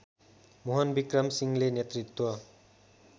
मोहनविक्रम सिंहले नेतृत्व